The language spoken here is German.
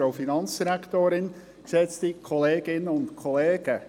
Kommissionssprecher der FiKo.